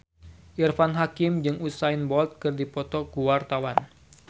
Irfan Hakim jeung Usain Bolt keur dipoto ku wartawan